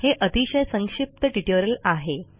हे अतिशय संक्षिप्त ट्युटोरियल आहे